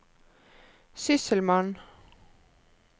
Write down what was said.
sysselmann